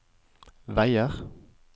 veier